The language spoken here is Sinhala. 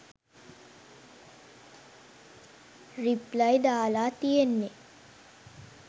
රිප්ලයි දාලා තියෙන්නේ.